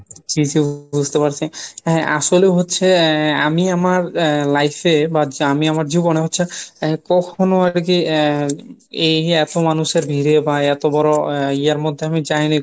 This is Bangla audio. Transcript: জি জি বুজতে পারছি, হে আসলে হচ্ছে আহ আমি আমার আহ life এ বা আমি আমার জীবনে হচ্ছে আহ কখনো আরকী আহ এই এতো মানুষের ভীড়ে বা এত বড় ইয়ের মধ্যে আমি যায়নি।